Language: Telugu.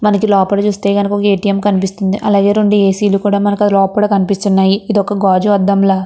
మనకి లోపల చూస్తేగనక ఎ. టి. ఎం. కనిపిస్తుంది అలాగే రెండు ఏ. సి. లు కూడా మనకు లోపల కనిపిస్తునాయి ఇది ఒక గాజు అద్దంలా --